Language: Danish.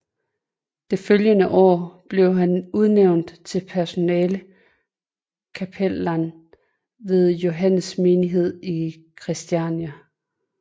Det følgende år blev han udnævnt til personel kapellan ved Johannes Menighed i Kristiania